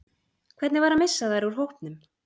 Hvernig var að missa þær úr hópnum?